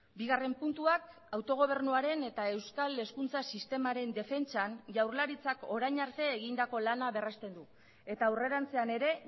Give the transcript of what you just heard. bigarren puntuak autogobernuaren eta euskal hezkuntza sistemaren defentsan jaurlaritzak orain arte egindako lana berrezten du eta aurrerantzean ere